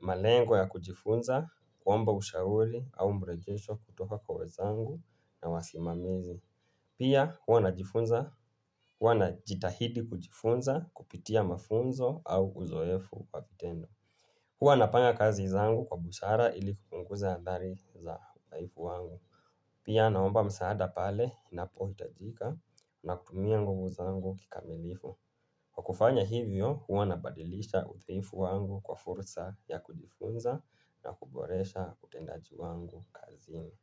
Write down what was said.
malengo ya kujifunza, kwamba ushauli au mrejesho kutoka kwa wezangu na wasimamizi. Pia huwa najitahidi kujifunza kupitia mafunzo au uzoefu kwa vitendo. Huwa na panga kazi zangu kwa busara ili kupunguza adhari za uthaifu wangu. Pia naomba msaada pale inapo hitajika na kutumia nguvu zangu kikamilifu. Kwa kufanya hivyo huwa nabadilisha utheifu wangu kwa fursa ya kujifunza na kuboresha utendaji wangu kazini.